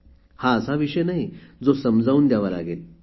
हा असा विषय नाही जो समजावून द्यावा लागेल